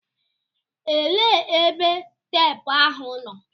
Elee ebe teepụ ahụ nọ?